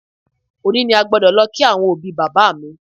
Òní ni a gbọ́dọ̀ lọ kí àwọn òbí bàbá mi